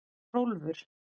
Hrólfur